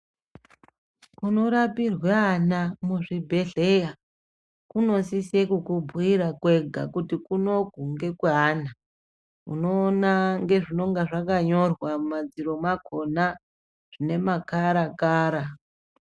Kunorapirwe ana muzvibhedhlera kunosise kukubhuira kwega kuti kunoku ngekwe ana, unoona ngezvinenge zvakanyorwa mumadziro mwakhona zvine makhara khara.